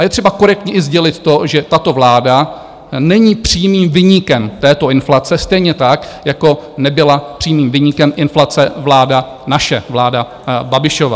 A je třeba korektně i sdělit to, že tato vláda není přímým viníkem této inflace, stejně tak, jako nebyla přímým viníkem inflace vláda naše, vláda Babišova.